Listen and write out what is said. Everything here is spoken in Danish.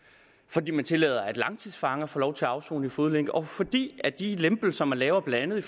fordi man tillader at langtidsfanger får lov til at afsone i fodlænke og fordi de lempelser man laver blandt andet i